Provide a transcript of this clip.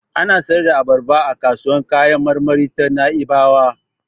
Ana siyar da abarba a kasuwar kayan marmari ta Na'ibawa.